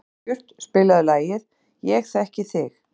Sólbjört, spilaðu lagið „Ég þekki þig“.